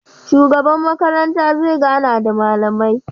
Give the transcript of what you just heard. Shugaba makaranta zai gana da malamai